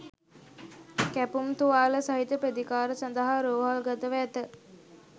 කැපුම් තුවාල සහිතව ප්‍රතිකාර සඳහා රෝහල්ගතව ඇත.